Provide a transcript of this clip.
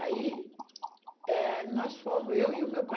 Aí, eh, nós fomos, eu e o meu pai.